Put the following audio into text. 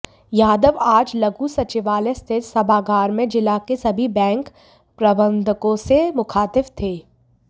यादव आज लघु सचिवालय स्थित सभागार में जिला के सभी बैंक प्रबंधकों से मुखातिब थे